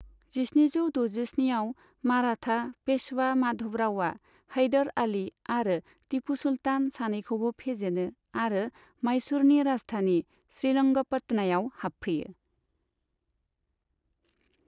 जिस्निजौ द'जिस्नि आव माराठा पेशवा माधवरावआ हैदर आली आरो टीपू सुलतान सानैखौबो फेजेनो आरो माइसुरनि राजधानी श्रीरंगपटनायाव हाबफैयो।